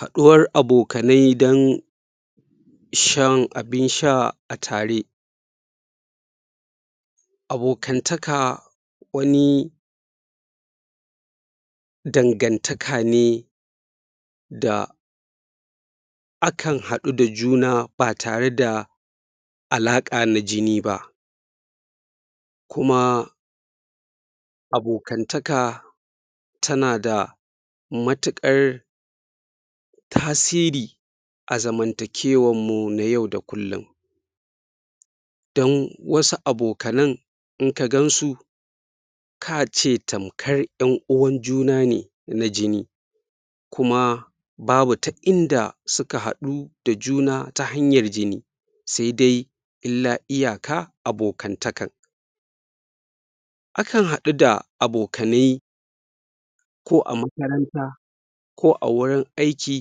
Haɗuwar abokanai dan shan abin sha a tare abokantaka wani dangantaka ne da akan haɗu da juna ba tare da alaƙa na jini ba kuma abokantaka tana da matuƙar tasiri a zamantakewarmu na yau da kullum dan wasu abokanan in ka gansu kace tamkar ƴan uwan juna ne na jini kuma babu ta inda suka haɗu da juna ta hanyar jini sai dai illa iyaka abokantakan akan haɗu da abokanai ko a makaranta ko a wurin aiki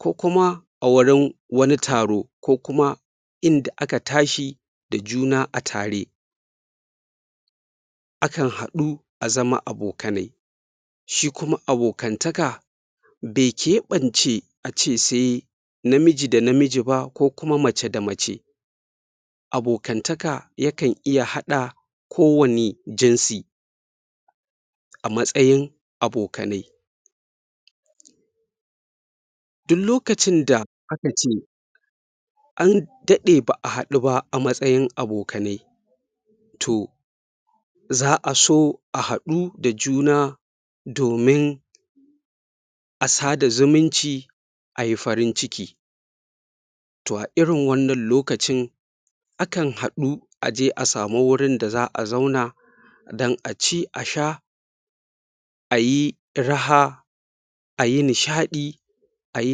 ko kuma a wurin wani taro ko kuma inda aka tashi da juna a tare akan haɗu a zama abokanai shi kuma abokantaka da keɓan ce a ce sai namiji da namiji ba ko kuma mace da mace abokantaka yakan iya haɗa ko wani jinsi a matsayin abokane duk lokacin da aka ce an daɗe ba'a haɗu ba a matsayin abokanai toh za'a so a haɗu da juna domin a sada zumunci ayi farin ciki toh a irin wannan lokacin akan haɗu aje a samu wurin da za'a zauna dan aci a sha ayi raha ayi nishaɗi ayi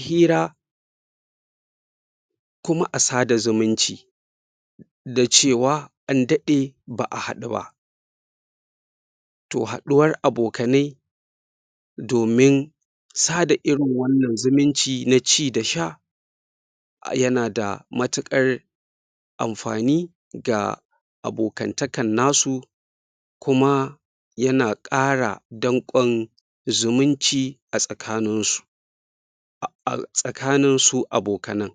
fira kuma a sada zumunci da cewa an daɗe ba'a haɗu ba toh haɗuwar abokanai domin sada irin wannan zumunci na ci da sha a yana da matuƙar amfani da abokantakan nasu kuma yana ƙara danƙon zumunci a tsakanin su a tsakanin su abokanan